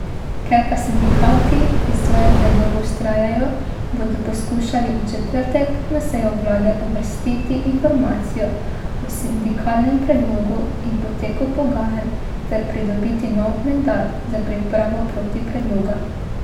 Ker pa sindikati pri svojem predlogu vztrajajo, bodo poskušali v četrtek na sejo vlade uvrstiti informacijo o sindikalnem predlogu in poteku pogajanj ter pridobiti nov mandat za pripravo protipredloga.